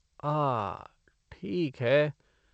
आहा! ठीक है।